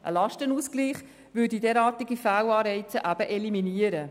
Ein Lastenausgleich würde derartige Fehlanreize eliminieren.